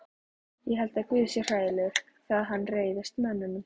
Ég held að guð sé hræðilegur þegar hann reiðist mönnunum.